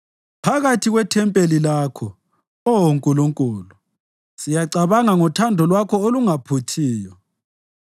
Phakathi kwethempeli lakho, Oh Nkulunkulu, siyacabanga ngothando lwakho olungaphuthiyo.